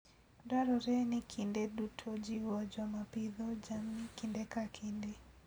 Dwarore ni kinde duto ojiw joma pidho jamni kinde ka kinde.